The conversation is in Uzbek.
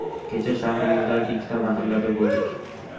Kecha shahringizdagi ikkita mahallada bo‘ldik.